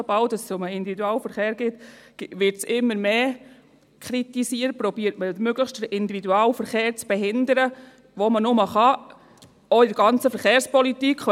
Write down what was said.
Sobald es um den Individualverkehr geht, wird es immer mehr kritisiert und man versucht, den Individualverkehr möglichst zu behindern, wo immer möglich, auch in der ganzen Verkehrspolitik.